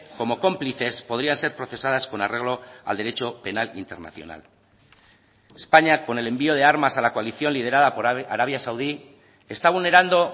como cómplices podrían ser procesadas con arreglo al derecho penal internacional españa con el envió de armas a la coalición liderada por arabia saudí está vulnerando